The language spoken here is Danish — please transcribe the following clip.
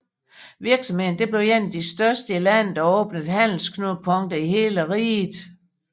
Virksomheden blev en af de største i landet og åbnede handelsknudepunkter i hele riget